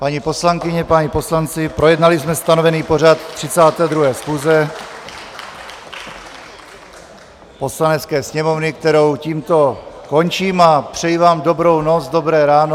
Paní poslankyně, páni poslanci, projednali jsme stanovený pořad 32. schůze Poslanecké sněmovny, kterou tímto končím a přeji vám dobrou noc, dobré ráno...